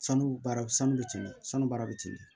Sanu baara sanu bɛ ten sanu baara bɛ teli